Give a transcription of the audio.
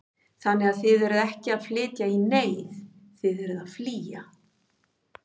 Þannig að þið eruð ekki að flytja í neyð, þið eruð ekki að flýja?